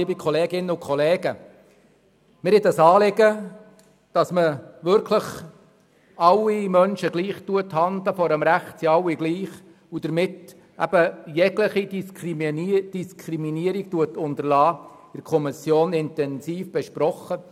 der SiK. Wir haben das Anliegen, dass man wirklich alle Menschen gleich behandelt – vor dem Recht sind alle gleich – und jegliche Diskriminierung unterlässt, in der Kommission intensiv besprochen.